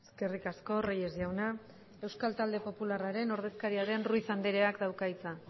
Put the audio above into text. eskerrik asko reyes jauna euskal talde popularraren ordezkaria den ruiz andreak dauka hitza